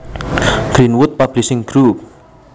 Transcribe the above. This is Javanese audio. Greenwood Publishing Group